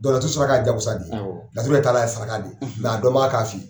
laturu saraka ye jagosa de ye laturu yɛrɛ taalan saraka de ye a dɔnbaga k'a f'u ye.